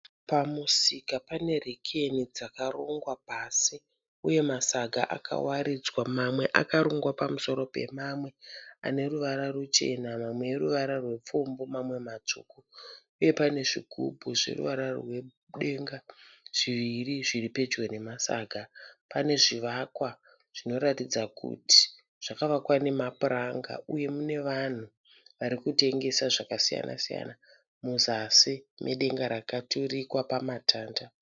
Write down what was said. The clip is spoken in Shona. Pamusika pane rekeni dzakarongwa pasi uye masaga akawaridzwa mamwe akarongwa pamusoro pemamwe aneruvara ruchena, mamwe ruvara rwepfumbu mamwe matsvuku. Uye pane zvigubhu zveruvara rwedenga zviviri zviri pedyo nemasaga. Pane zvivakwa zvinoratidza kuti zvakavakwa nemapuranga uye mune vanhu vari kutengesa zvakasiyana siyana muzasi medenga rakaturikwa pamatanda.